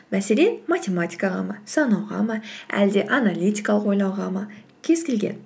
мәселен матиматикаға ма санауға ма әлде аналитикалық ойлауға ма кез келген